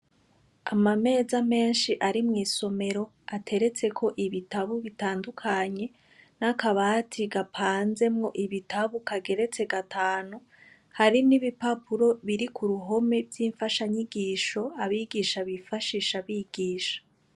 Amameza menshi ari mw’isomero, ateretseko ibitabu bitandukanye n’akabati gapanzemwo ibitabu kageretse gatanu, hari n’ibipapuro biri kuruhome vyinfasha nyigisho abigisha bifashisha bigisha.